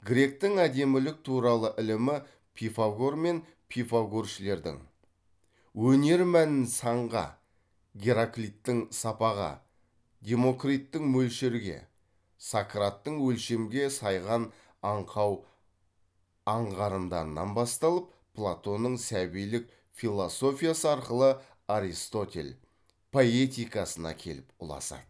гректің әдемілік туралы ілімі пифагор мен пифагоршілердің өнер мәнін санға гераклиттің сапаға демокриттің мөлшерге сократтың өлшемге сайған аңқау аңғарымдарынан басталып платонның сәбилик философиясы арқылы аристотель поэтикасына келіп ұласады